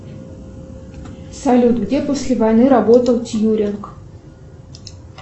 салют где после войны работал тьюринг